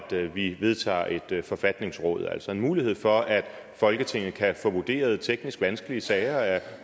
vi vedtager at et forfatningsråd altså en mulighed for at folketinget kan få vurderet teknisk vanskelige sager af